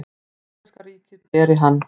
Íslenska ríkið beri hann.